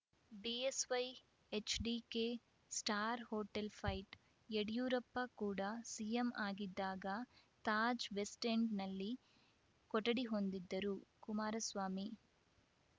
BSY HDK star hotel fight Yediyurappa ಕೂಡ CM ಆಗಿದ್ದಾಗ Taj west ಎಂಡ್‌ನಲ್ಲಿ ಕೊಠಡಿ ಹೊಂದಿದ್ದರು ಕುಮಾರಸ್ವಾಮಿ